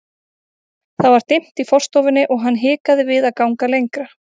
Það var dimmt í forstofunni og hann hikaði við að ganga lengra.